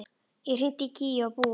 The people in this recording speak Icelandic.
Ég hringdi í Gígju og Búa.